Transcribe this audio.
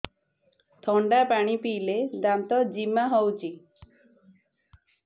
ଥଣ୍ଡା ପାଣି ପିଇଲେ ଦାନ୍ତ ଜିମା ହଉଚି